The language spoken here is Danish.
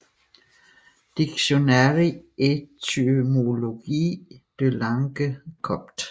Dictionnaire étymologique de la langue copte